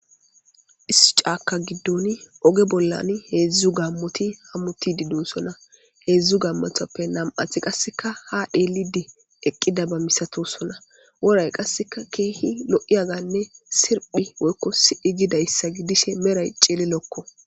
Is caaka giddoni oge bollan heedzdzu gammoti hammuti didonsonna heedzdzu gammotappe nam'athi qasseka ha dheelidi eqqida ba misatosonna woray qasseka keehi lo'i aganne sirphi woykko si'i gidayssa gidishe meray ceele lokko